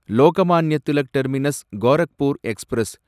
Lokmanya Tilak terminus Gorakhpur express